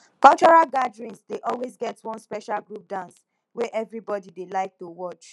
cultural gatherings dey always get one special group dance wey everybody dey like watch